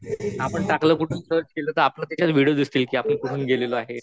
आपण टाकलं तिथं तर आपले देखील विडिओ दिसतील कि आपण कुठून गेलेलो आहे.